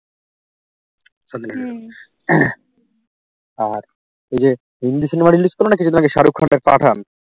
আর এইযে Hindi cinema release করলো না কিছু দিন আগে শাহরুখ খানের পাঠান